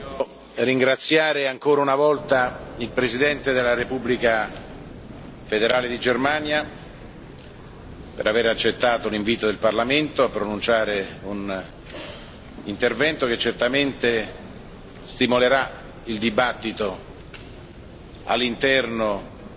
Voglio ringraziare ancora una volta il Presidente della Repubblica federale di Germania per aver accettato l'invito del Parlamento a pronunciare un intervento che certamente stimolerà il dibattito all'interno